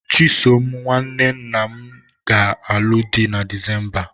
Chisom nwanne nna m ga-alụ di na Disemba a.